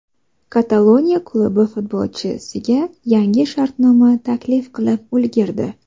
Kataloniya klubi futbolchiga yangi shartnoma taklif qilib ulgurdi .